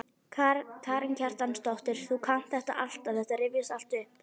Karen Kjartansdóttir: Þú kannt þetta alltaf, þetta rifjast alltaf upp?